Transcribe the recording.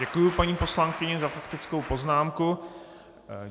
Děkuji paní poslankyni za faktickou poznámku.